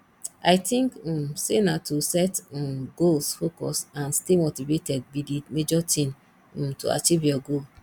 i think um say na to set um goals focus and stay motivated be di major thing um to achieve your goal